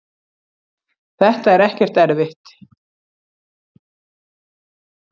þetta er ekkert erfitt.